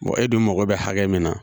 e dun mago bɛ hakɛ min na